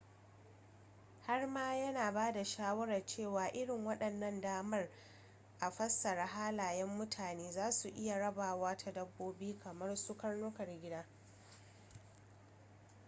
har ma yana ba da shawarar cewa irin waɗannan damar a fassara halayen mutane za su iya rabawa ta dabbobi kamar su karnukan gida